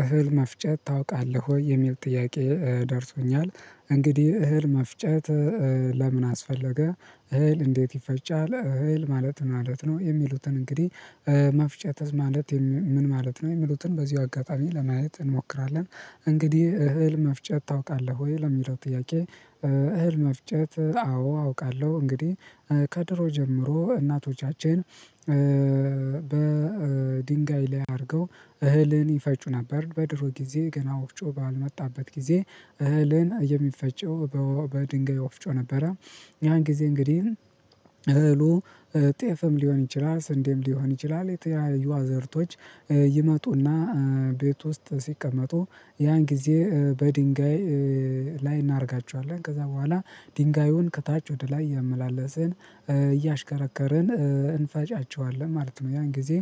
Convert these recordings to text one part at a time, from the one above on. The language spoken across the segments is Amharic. እህል መፍጨት ታውቃለህ ወይ? የሚል ጥያቄ ደርሶኛል እንግዲህ እህል መፍጨት ለምን አስፈለገ? እህል እንዴት ይፈጫል እህል ማለት ምን ማለት ነው? የሚሉትን እንግዲህ መፍጨት ማለት ምን ማለት ነው የሚሉትን በዚሁ አጋጣሚ ለማየት እንሞክራለን። እንግዲህ እህል መፍጨት ታውቃለህ ወይ? ለሚለው ጥያቄ እህል መፍጨት አዎ አውቃለሁ እንግዲህ ከድሮ ጀምሮ እናቶቻችን በድንጋይ ላይ አድርገው እህልን ይፈጩ ነበር በድሮ ጊዜ ገና ወፍጮ ባልመጣበት ጊዜ እህልን የሚፈጨው በድንጋይ ወፍጮ ነበረ። ያን ጊዜ እንግዲህ እህሉ ጤፍም ሊሆን ይችላል ስንዴም ሊሆን ይችላል የተያዩ አዘርቶች ይመጡና ቤት ውስጥ ሲቀመጡ ያን ጊዜ በድንጋይ ላይ እናደርጋቸዋለን ከዛ በኋላ ድንጋዩን ከታች ወደ ላይ እያመላለስን እያሽከረከርን እንፈጫቸዋለን ማለት ነው። ያን ጊዜ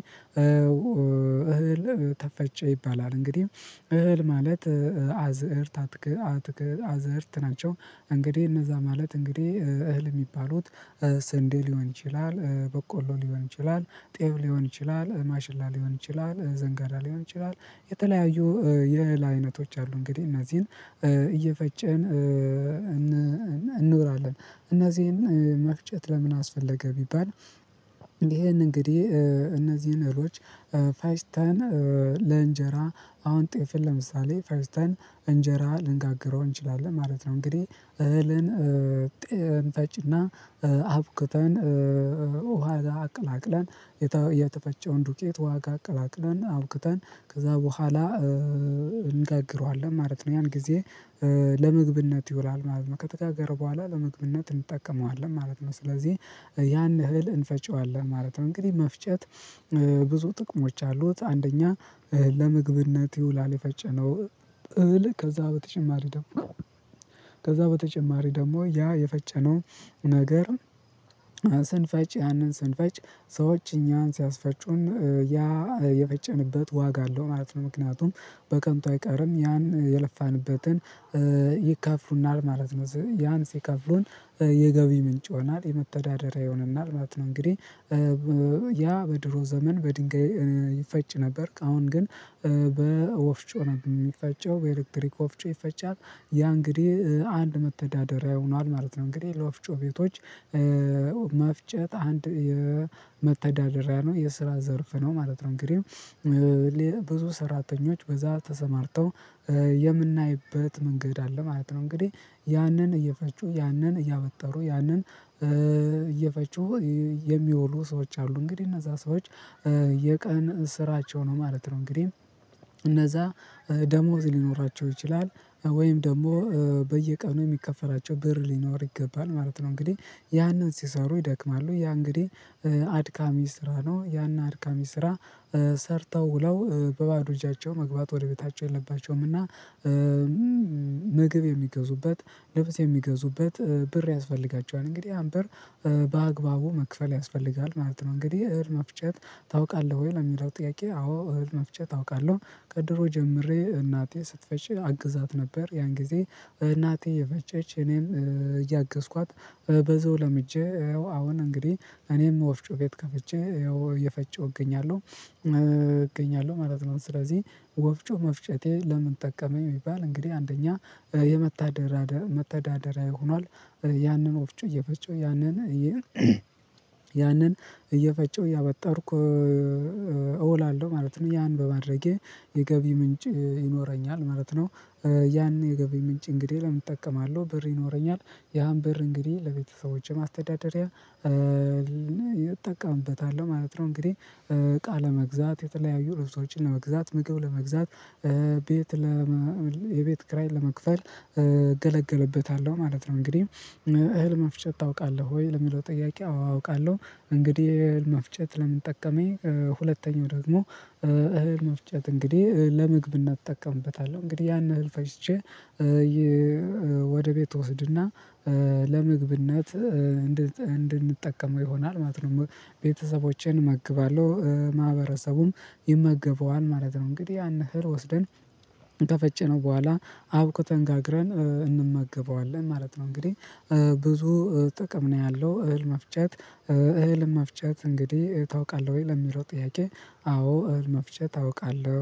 እህል ተፈጨ ይባላል እንግዲህ እህል ማለት አዝእርት አትክ አትክ አትክ አዝእርት ናቸው። እንግዲህ እነዛ ማለት እንግዲህ እህል የሚባሉት ስንዴ ሊሆን ይችላል በቆሎ ሊሆን ይችላል ጤብ ሊሆን ይችላል ማሽላ ሊሆን ይችላል ዘንጋራ ሊሆን ይችላል። የተለያዩ የእህል አይነቶች አሉ እንግዲህ እነዚህን እየፈጨን እን እንኖራለን እናዚን መፍጨት ለምን አስፈለገ ቢባል ይሄን እንግዲህ እነዚህን እህሎች ፈጭተን ለእንጀራ አሁን ጤፍን ለምሳሌ ፈጭተን እንጀራ ልንጋግረው እንችላለን ማለት ነው። እንግዲህ እህልን ጥንፈጭና አብክተን ውሃ አቅላቅለን የተፈጨውን ዱቄት ዋጋ አቅላቅለን አውክተን ከዛ በኋላ እንጋግረዋለን ማለት ነው ያን ጊዜ ለመግብነት ይውላል ማለት ነው ከተጋገረ በኋላ ለመግብነት እንጠቀመዋለን ማለት ነው። ስለዚህ ያን እህል እንፈጨዋለን ማለት ነው። እንግዲህ መፍጨት ብዙ ጥቅሞች አሉት። አንደኛ ለምግብነት ይውላል የፈጨነው እህል ከዛ በተጨማሪ ደግሞ ከዛ በተጨማሪ ደግሞ ያ የፈጨነው ነገር ስንፈጭ ያንን ስንፈጭ ሰዎች እኛን ሲያስፈጩን ያ የፈጨንበት ዋጋ አለው ማለት ነው። ምክንያቱም በቀንቱ አይቀርም ያን የለፋንበትን ይከፍሉናል ማለት ነው ያን ሲከፍሉን የገቢ ምንጭ ይሆናል የመተዳደሪያ ይሆናል ማለት ነው። እንግዲህ ያ በድሮ ዘመን በድንጋይ ይፈጭ ነበርክ አሁን ግን የሚፈጨው በኤሌክትሪክ ወፍጮ ይፈጫል ያ እንግዲህ አንድ መተዳደሪያ ሆኗል ማለት ነው። እንግዲህ ለፍጮ ቤቶች መፍጨት አንድ የመተዳደሪያ ነው የስራ ዘርፍ ነው ማለት ነው። እንግዲህ ብዙ ሰራተኞች በዛ ተሰማርተው የምናይበት መንገድ አለ ማለት ነው። እንግዲህ ያንን እየፈጩ ያንን እያወጠሩ ያንን እየፈጩ የሚወሉ ሰዎች አሉ እንግዲህ እነዛ ሰዎች የቀን ስራቸው ነው ማለት ነው። እንግዲህ እነዛ ደሞዝ ሊኖራቸው ይችላል ወይም ደግሞ በየቀኑ የሚከፈላቸው ብር ሊኖር ይገባል ማለት ነው። እንግዲህ ያንን ሲሰሩ ይደክማሉ ያ እንግዲህ አድካሚ ስራ ነው ያን አድካሚ ስራ ሰርተው ውለው በባዶ እጃቸው መግባት ወደ ቤታቸው የለባቸውም። እና ምግብ የሚገዙበት ልብስ የሚገዙበት ብር ያስፈልጋቸዋል እንግዲህ ያንብር በአግባቡ መክፈል ያስፈልጋል ማለት ነው። እንግዲህ እህል መፍጨት ታውቃለህ ወይ? ለሚለው ጥያቄ አዎ እህል መፍጨት ታውቃለህ ከድሮ ጀምሬ እናቴ ስትፈጭ አግዛት ነበር ያን ጊዜ እናቴ የፈጨች እኔም እያገዝኳት በዘው ለምጄ ያው አሁን እንግዲህ እኔም ወፍጮ ቤት ከፍቼ ያው እየፈጨሁ እገኛለሁ እገኛለሁ ማለት ነው። ስለዚህ ወፍጮ መፍጨቴ ለምን ጠቀመኝ የሚባል እንግዲህ አንደኛ የመታደራ መታደራዊ ሆኗል ያንን ወፍጮ እየፈጮ ያንን ያንን እየፈጨው እያበጠርኩ እውላለሁ ማለት ነው። ያን በማድረጌ የገቢ ምንጭ ይኖረኛል ማለት ነው። ያኔ የገቢ ምንጭ እንግዲህ ለምን እጠቀማለሁ ብር ይኖረኛል ያን ብር እንግዲህ ለቤተሰቦቼ ማስተዳደሪያ እጠቀምበታለሁ ማለት ነው። እንግዲህ እቃለ ለመግዛት የተለያዩ ልብሶችን ለመግዛት ምግብ ለመግዛት ቤት ለ የቤት ክራይን ለመክፈል እገለገልበታለሁ ማለት ነው። እንግዲህ እህል መፍጨት ታውቃለሁ ወይ? ለሚለው ጥያቄ አዎ አውቃለሁ እንግዲህ መፍጨት ለምን ጠቀመኝ ሁለተኛው ደግሞ እህል መፍጨት እንግዲህ ለምግብ እናጠቀምበታለሁ እንግዲህ ያን ህል ፈጅቼ ወደ ቤት ትወስድና ለምግብነት እንድንጠቀመው ይሆናል ማለት ነው ቤተሰቦቼን እመግባለሁ ማህበረሰቡም ይመገበዋል ማለት ነው። እንግዲህ ያን እህር ወስደን ከፈጨነው በኋላ አብኩተን ጋግረን እንመገበዋለን ማለት ነው። እንግዲህ ብዙ ጥቅም ነው ያለው። እህል መፍጨት እህል መፍጨት እንግዲህ ታውቃለህ ወይ? ለሚለው ጥያቄ አዎ እህል መፍጨት ታውቃለህ